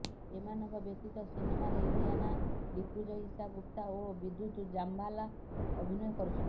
ଏମାନଙ୍କ ବ୍ୟତୀତ ସିନେମାରେ ଇଲିୟାନା ଡିକ୍ରୁଜ ଇଶା ଗୁପ୍ତା ଓ ବିଦ୍ୟୁତ ଜାମବାଲ ଅଭିନୟ କରୁଛନ୍ତି